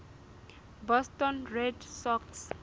boston red sox